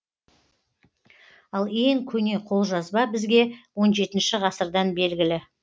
ал ең көне қолжазба бізге он жетінші ғасырдан белгілі